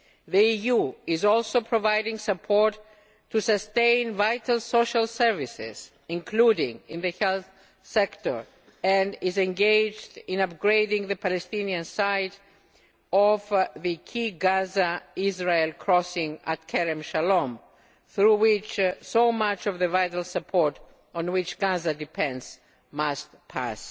The EU is also providing support to sustain vital social services, including in the health sector, and is engaged in upgrading the Palestinian side of the key Gaza Israel crossing at Kerem Shalom, through which so much of the support on which Gaza depends must pass.